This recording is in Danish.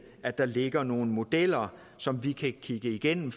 at der ligger nogle modeller som vi kan kigge igennem